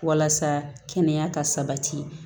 Walasa kɛnɛya ka sabati